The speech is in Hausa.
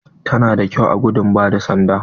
Ta na da kyau a gudun ba da sanda.